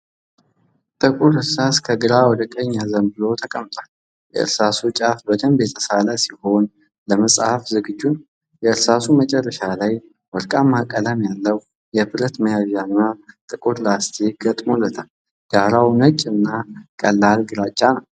ጥቁር እርሳስ ከግራ ወደ ቀኝ አዘንብሎ ተቀምጧል። የእርሳሱ ጫፍ በደንብ የተሳለ ሲሆን ለመጻፍ ዝግጁ ነው። የእርሳሱ መጨረሻ ላይ ወርቃማ ቀለም ያለው የብረት መያዣ እና ጥቁር ላስቲክ ተገጥሞለታል። ዳራው ነጭ እና ቀላል ግራጫ ነው።